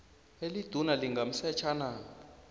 eliduna lingamsetjha na